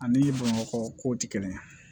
Ani bamakɔ kow tɛ kelen ye